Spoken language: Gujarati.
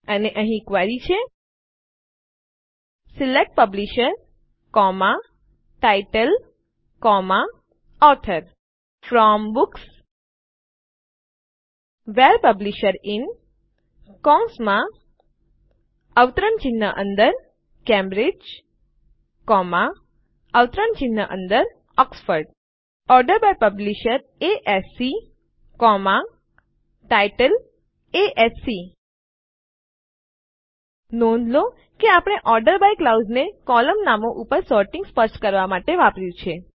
અને અહીં ક્વેરી છે select publisher title author from books where publisher in Cambridge Oxford order by publisher ASC title ASC નોંધ લો આપણે ઓર્ડર બાય ક્લાઉઝને કોલમ નામો ઉપર સોર્ટીંગ સ્પષ્ટ કરવાં માટે વાપર્યું છે